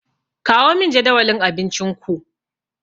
Kawo min jadawalin abincinku.